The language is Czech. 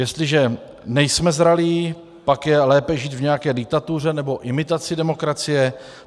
Jestliže nejsme zralí, pak je lépe žít v nějaké diktatuře nebo imitaci demokracie.